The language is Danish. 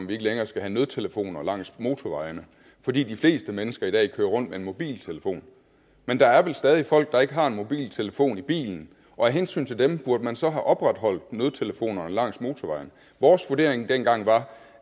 vi ikke længere skal have nødtelefoner langs motorvejene fordi de fleste mennesker i dag kører rundt med en mobiltelefon men der er vel stadig folk der ikke har en mobiltelefon i bilen og af hensyn til dem burde man så have opretholdt nødtelefonerne langs motorvejene vores vurdering dengang var